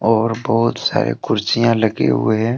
और बहुत सारे कुर्सियां लगे हुए हैं।